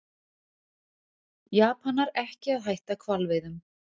Japanar ekki að hætta hvalveiðum